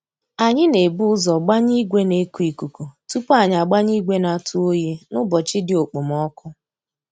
Anyị na ebu ụzọ gbanye ìgwè na eku ikuku tupu anyị agbanye ìgwè na atụ oyi n'ụbọchị dị okpomoko